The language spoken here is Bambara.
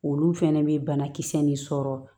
Olu fɛnɛ bɛ banakisɛ nin sɔrɔ